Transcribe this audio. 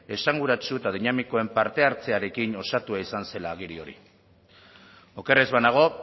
esanguratsu eta dinamikoen parte hartzearekin osatua izan zela agiri hori oker ez banago